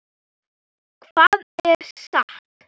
Hvað er satt?